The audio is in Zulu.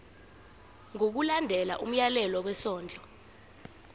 ngokulandela umyalelo wesondlo